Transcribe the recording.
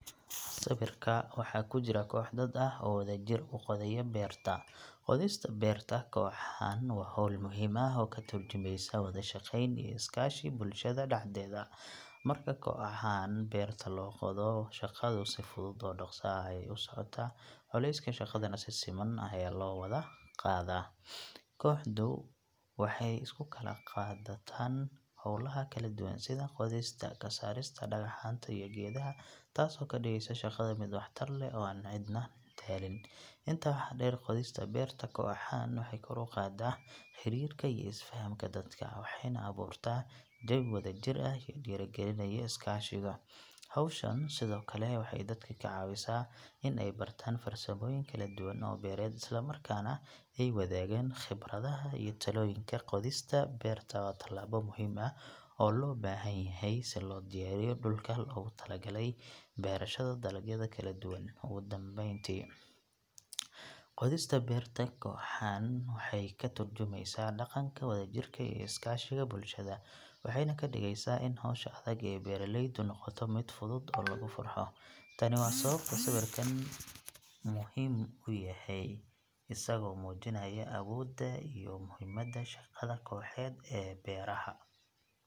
Sawirka waxaa ku jira koox dad ah oo wadajir u qodaya beerta. Qodista beerta koox ahaan waa hawl muhiim ah oo ka tarjumaysa wada shaqeyn iyo is kaashi bulshada dhexdeeda. Marka koox ahaan beerta la qodo, shaqadu si fudud oo dhaqso ah ayay u socotaa, culayska shaqadana si siman ayaa loo wada qaadaa. Kooxdu waxay isu kala qaadataan hawlaha kala duwan sida qodista, ka saarista dhagaxaanta iyo geedaha, taasoo ka dhigaysa shaqada mid waxtar leh oo aan cidna daalin. Intaa waxaa dheer, qodista beerta koox ahaan waxay kor u qaadaa xiriirka iyo is fahamka dadka, waxayna abuurtaa jawi wadajir ah oo dhiirrigelinaya iskaashiga. Hawshan sidoo kale waxay dadka ka caawisaa in ay bartaan farsamooyin kala duwan oo beereed, isla markaana ay wadaagaan khibradaha iyo talooyinka. Qodista beerta waa tallaabo muhiim ah oo loo baahan yahay si loo diyaariyo dhulka loogu talagalay beerashada dalagyada kala duwan. Ugu dambeyntii, qodista beerta koox ahaan waxay ka tarjumaysaa dhaqanka wadajirka iyo is kaashiga bulshada, waxayna ka dhigaysaa in hawsha adag ee beeralaydu noqoto mid fudud oo lagu farxo. Tani waa sababta sawirkan uu muhiim u yahay, isagoo muujinaya awooda iyo muhiimadda shaqada kooxeed ee beeraha.